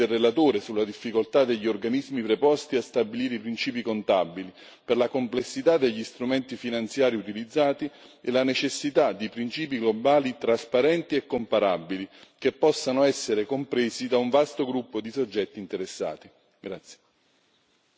Mi associo alle preoccupazioni del relatore sulla difficoltà degli organismi preposti a stabilire i principi contabili per la complessità degli strumenti finanziari utilizzati e la necessità di principi globali trasparenti e comparabili che possano essere compresi da un vasto gruppo di soggetti interessati.